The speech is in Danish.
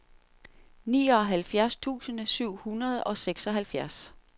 nioghalvfjerds tusind syv hundrede og seksoghalvfjerds